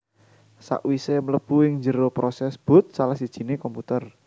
Sakwisé mlebu ing njero prosès boot salah sijiné komputer